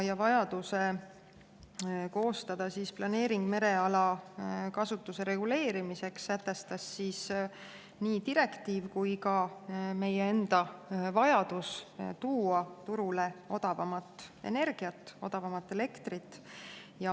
Vajaduse koostada planeering mereala kasutuse reguleerimiseks sätestas nii direktiiv kui ka meie enda vajadus tuua turule odavamat energiat, odavamat elektrit.